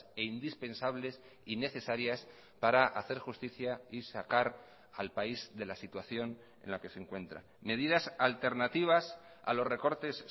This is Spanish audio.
e indispensables y necesarias para hacer justicia y sacar al país de la situación en la que se encuentran medidas alternativas a los recortes